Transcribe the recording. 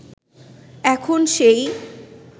এখন সেই